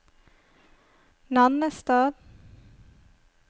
Nannestad